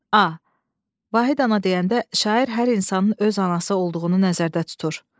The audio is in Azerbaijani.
A. Vahid ana deyəndə şair hər insanın öz anası olduğunu nəzərdə tutur.